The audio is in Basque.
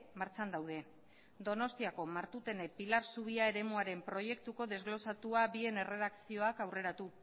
martxan daude donostiako martutene pilar zubia eremuaren proiektuko desglosatua bien erredakzioak aurreratu